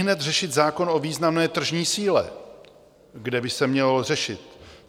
Ihned řešit zákon o významné tržní síle, kde by se měl řešit: